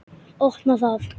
Opna það.